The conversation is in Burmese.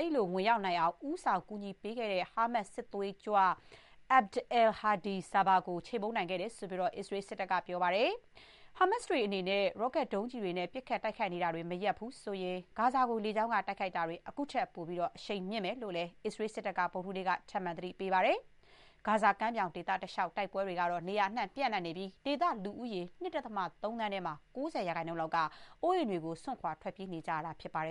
အဲ့ဒီလို ဝင်ရောက်နိုင်အောင် ဦးဆောင် ကူညီပေးခဲ့တဲ့ ဟာမတ်စ် စစ်သွေးကြွ Abd al-Hadi Sabah ကို ချေမှုန်းနိုင်ခ့တယ်လို့တော့ အစ္စရေး စစ်တပ်က ပြောပါတယ်။ ဟာမတ်စ်တွေ အနေနဲ့ ရော့ကတ်ဒုံးကျည်တွေနဲ့ ပစ်ခတ်တိုက်ခိုက်နေတာတွေ မရပ်ဘူးဆိုရင် ဂါဇာကို လေကြောင်းက တိုက်ခိုက်နေတာတွေ ခုထပ်ပိုပြီး အရှိန်မြှင့်မယ်လို့လည်း အစ္စရေး စစ်တပ်က ဗုဒ္ဓဟူးနေ့က ထပ်မံ သတိပေးခဲ့ပါတယ်။ ဂါဇာကမ်းမြောင် ဒေသတလျှောက် စစ်ပွဲတွေကတော့ နေရာအနှံ့ ပြန့်နှံ့နေပြီး ဒေသလူဦးရေ ၂.၃ သန်းထဲမှာ ၉၀ % လောက်က အိုးအိမ်တွေကို စွန့်ခွာ ထွက်ပြေးနေကြရတာ ဖြစ်ပါတယ်